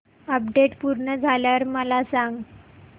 update पूर्ण झाल्यावर मला सांग